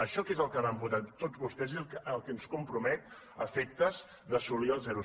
això que és el que van votar tots vostès és el que ens compromet a efectes d’assolir el zero coma set